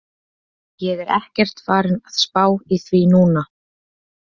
Ég er ekkert farinn að spá í því núna.